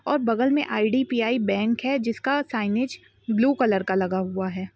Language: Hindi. और बगल में आईडीपीआई बैंक है। जिसका साइनेज ब्लू कलर का लगा हुआ है।